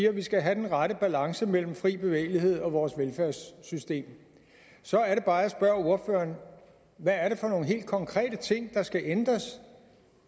at vi skal have den rette balance mellem fri bevægelighed og vores velfærdssystem så er det bare at jeg spørger ordføreren hvad er det for nogle helt konkrete ting der skal ændres